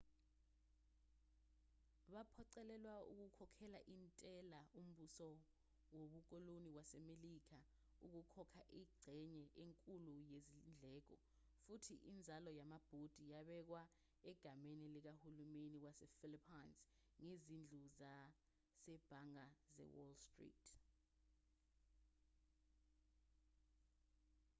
baphoqelelwa ukukhokhela intela umbuso wobukoloni wasemelika ukukhokha ingxenye enkulu yezindleko futhi inzalo yamabhondi yabekwa egameni likahulumeni wasephilippines ngezindlu zasebhange zewall street